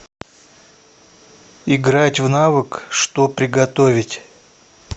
играть в навык что приготовить